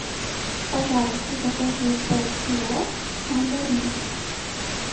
пожалуйста закажи полкило мандарин